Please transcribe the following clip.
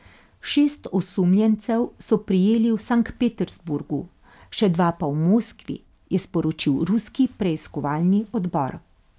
Šest osumljencev so prijeli v Sankt Peterburgu, še dva pa v Moskvi, je sporočil ruski preiskovalni odbor.